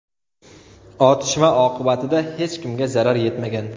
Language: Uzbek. Otishma oqibatida hech kimga zarar yetmagan.